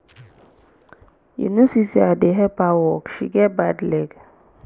you no see say i dey help her walk. she get bad leg